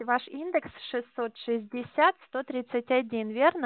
ваш индекс шестьсот шестьдесят сто тридцать один верно